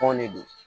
Tɔn de don